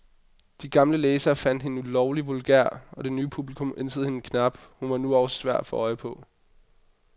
De gamle læsere fandt hende lovlig vulgær, og det nye publikum ænsede hende knap, hun var nu også svær at få øje på.